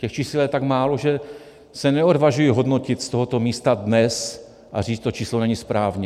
Těch čísel je tak málo, že se neodvažuji hodnotit z tohoto místa dnes a říct: to číslo není správně.